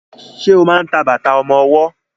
Ṣe máa ń ta bàtà ọmọwọ́?